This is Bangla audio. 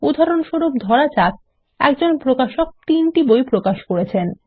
উদাহরণস্বরূপ ধরা যাক একজন প্রকাশক ৩ টি বই প্রকাশ করেছেন